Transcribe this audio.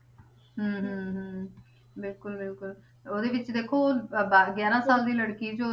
ਹਮ ਹਮ ਹਮ ਬਿਲਕੁਲ ਬਿਲਕੁਲ ਉਹਦੇ ਵਿੱਚ ਦੇਖੋ ਅਹ ਦਸ ਗਿਆਰਾਂ ਸਾਲ ਦੀ ਲੜਕੀ ਸੀ ਉਹ,